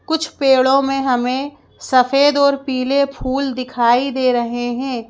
कुछ पेड़ों में हमें सफेद और पीले फूल दिखाई दे रहे हैं।